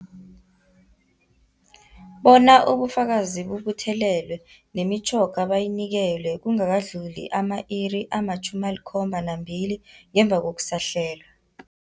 Bona ubufakazi bubuthelelwe, nemitjhoga bayinikelwe kungakadluli ama-iri ama-72 ngemva kokusahlelwa.